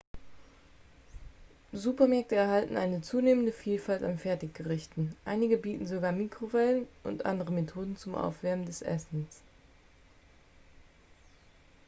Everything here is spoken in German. supermärkte erhalten eine zunehmende vielfalt an fertiggerichten einige bieten sogar mikrowellen und andere methoden zum aufwärmen des essens